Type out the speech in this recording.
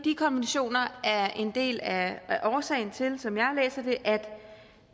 konventioner er en del af årsagen til som jeg læser det er